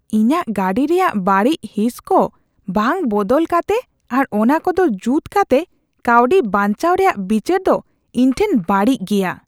ᱤᱧᱟᱹᱜ ᱜᱟᱹᱰᱤ ᱨᱮᱭᱟᱜ ᱵᱟᱹᱲᱤᱡ ᱦᱤᱸᱥᱠᱚ ᱵᱟᱝ ᱵᱚᱫᱚᱞ ᱠᱟᱛᱮ ᱟᱨ ᱚᱱᱟ ᱠᱚᱫᱚ ᱡᱩᱛ ᱠᱟᱛᱮ ᱠᱟᱹᱣᱰᱤ ᱵᱟᱧᱪᱟᱣ ᱨᱮᱭᱟᱜ ᱵᱤᱪᱟᱹᱨ ᱫᱚ ᱤᱧ ᱴᱷᱮᱱ ᱵᱟᱹᱲᱤᱡ ᱜᱮᱭᱟ ᱾